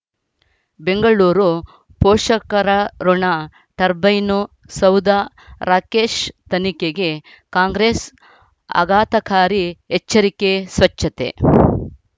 ಬೆಂಗಳೂರು ಪೋಷಕರಋಣ ಟರ್ಬೈನು ಸೌಧ ರಾಕೇಶ್ ತನಿಖೆಗೆ ಕಾಂಗ್ರೆಸ್ ಆಘಾತಕಾರಿ ಎಚ್ಚರಿಕೆ ಸ್ವಚ್ಛತೆ